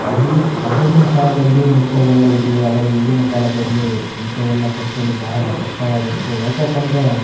ಅವೀನ್ ಆವಾಗಿನ ಕಾಲದಲ್ಲಿ ಇಂಥವ ಇದ್ರೂ ಆದ್ರೆ ಈಗಿನ ಕಾಲದಲ್ಲಿ ಇಂಥವನ್ನ ಕೊಡಿಸಲು ಬಹಳ ಕಷ್ಟ ವಾಗುತ್ತೆ ಯಾಕಪ್ಪಂದ್ರೆ --